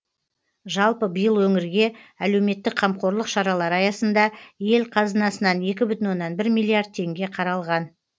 жалпы биыл өңірге әлеуметтік қамқорлық шаралары аясында ел қазынасынан екі бүтін оннан бір миллиард теңге қаралған